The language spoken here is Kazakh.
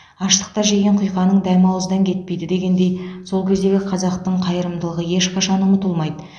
аштықта жеген құйқаның дәмі ауыздан кетпейді дегендей сол кездегі қазақтың қайырымдылығы ешқашан ұмытылмайды